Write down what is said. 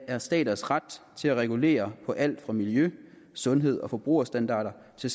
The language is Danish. af staters ret til at regulere på alt fra miljø sundheds og forbrugerstandarder til